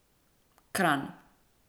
Kranj.